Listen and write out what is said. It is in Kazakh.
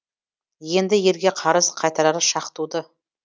енді елге қарыз қайтарар шақ туды